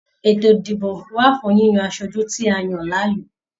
Eto ìdìbò wà fún yíyan aṣoju tí a yan láàyò.